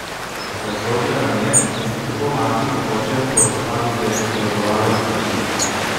Razložila nam je, da sta tako mati kot oče po razpadu zveze sodelovala z njimi.